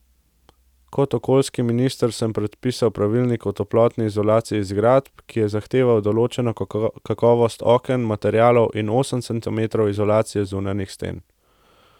Kot okoljski minister sem predpisal pravilnik o toplotni izolaciji zgradb, ki je zahteval določeno kakovost oken, materialov in osem centimetrov izolacije zunanjih sten.